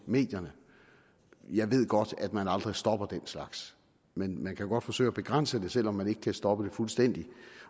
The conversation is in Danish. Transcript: medierne jeg ved godt at man aldrig stopper den slags men man kan godt forsøge at begrænse det selv om man ikke kan stoppe det fuldstændigt